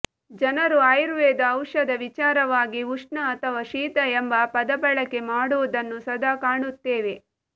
ಜನರು ಆಯುರ್ವೆದ ಔಷಧ ವಿಚಾರವಾಗಿ ಉಷ್ಣ ಅಥವಾ ಶೀತ ಎಂಬ ಪದಬಳಕೆ ಮಾಡುವುದನ್ನು ಸದಾ ಕಾಣುತ್ತೇವೆ